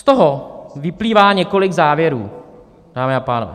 Z toho vyplývá několik závěrů, dámy a pánové.